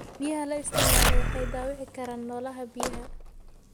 Biyaha la isticmaalo waxay dhaawici karaan noolaha biyaha.